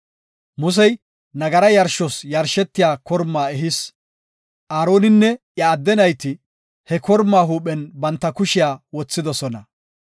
Musey nagara yarshos yarshetiya kormaa ehis; Aaroninne iya adde nayti he kormaa huuphen banta kushiya wothidosona.